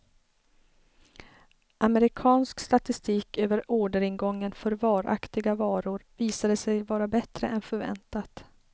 Amerikansk statistik över orderingången för varaktiga varor visade sig vara bättre än förväntat.